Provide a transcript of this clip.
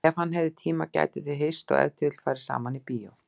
Ef hann hefði tíma gætu þau hist og ef til vill farið saman í bíó.